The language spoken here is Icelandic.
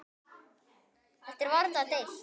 Um þetta er varla deilt.